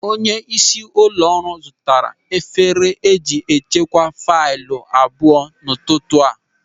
Onyeisi ụlọ ọrụ zụtara efere eji echekwa faịlụ abụọ n'ụtụtụ taa.